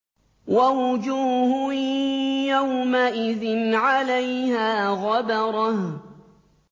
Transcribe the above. وَوُجُوهٌ يَوْمَئِذٍ عَلَيْهَا غَبَرَةٌ